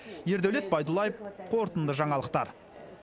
ердәулет байдуллаев қорытынды жаңалықтар